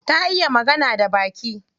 Ta iya magana da baki?